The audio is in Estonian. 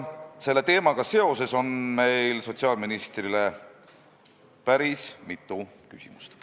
Selle teemaga seoses on meil sotsiaalministrile päris mitu küsimust.